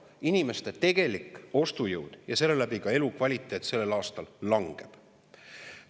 Inimeste tegelik ostujõud ja seeläbi ka elukvaliteet sellel aastal langeb.